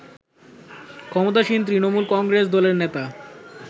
ক্ষমতাসীন তৃণমূল কংগ্রেস দলের নেতা